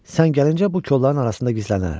Sən gəlincə bu kolların arasında gizlənərəm.